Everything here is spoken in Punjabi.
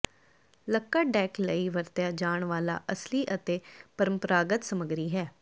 ਲੱਕੜ ਡੈੱਕ ਲਈ ਵਰਤਿਆ ਜਾਣ ਵਾਲਾ ਅਸਲੀ ਅਤੇ ਪਰੰਪਰਾਗਤ ਸਮਗਰੀ ਹੈ